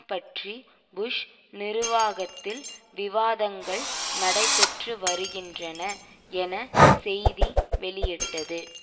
பற்றி புஷ் நிர்வாகத்தில் விவாதங்கள் நடைபெற்று வருகின்றன என செய்தி வெளியிட்டது